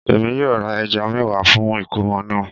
Èmi yóò ra ẹja mẹ́wàá fún ìkómọ̀ náà